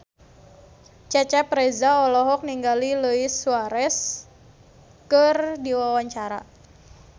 Cecep Reza olohok ningali Luis Suarez keur diwawancara